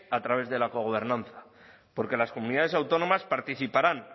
a través del cogobernanza porque las comunidades autónomas participarán